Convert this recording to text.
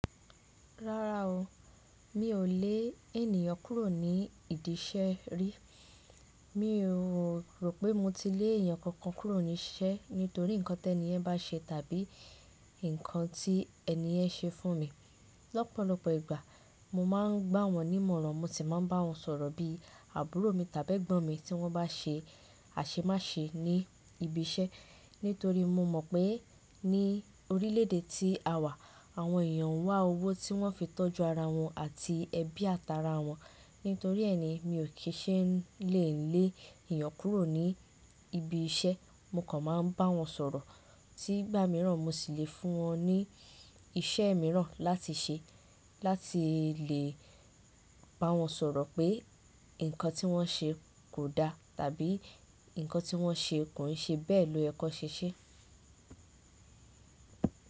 Rárá o, mi ò lè ènìyàn kúrò ní ìdí iṣẹ́ rí. Mi ò rò pé mo ti lé èèyàn kankan kúrò ní iṣẹ́ nítorí nǹkan tẹni ẹ́ bá ṣe tàbí nǹkan tí ẹni yẹ́n ṣe fún mi. Lọ́pọ̀lọpọ̀ ìgbà mo máa ń gbá wọn nímọ̀ràn mo sì máa ń bá wọn sọ̀rọ̀ bí àbúrò mi tàbí ẹ̀gbọ́n mi tí wọ́n bá ṣe àṣemáṣe ní ibi iṣẹ́. Nítorí mo mọ̀ pé ní orílè èdè tí a wà, àwọn èèyàn n wá owó tí wọ́n fi tọ́jú ara wọn àti ẹbí àtá ara wọn. Nítorí ẹ ni mi ò kí ṣe lè lè ènìyàn kúrò ní ibi iṣẹ́. Mo kàn máa ń bá wọn sọ̀rọ̀ tí gbà míràn mo sì le fún wọn ní iṣẹ́ míràn láti ṣe láti lè bá wọn sọ̀rọ̀ pé nǹkan tí wọ́n ṣe kò da tàbí nǹkan tí wọ́n ṣe kò ṣe bẹ́ẹ̀ lóyẹ kan ṣéṣé.